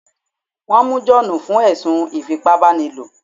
Wọ́n mú John fún ẹ̀sùn ìfipábánilo